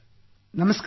ನಮಸ್ಕಾರ ಸರ್